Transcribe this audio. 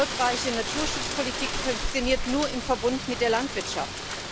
Erfolgreiche Naturschutzpolitik funktioniert nur im Verbund mit der Landwirtschaft.